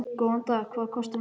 Góðan dag. Hvað kostar miðinn?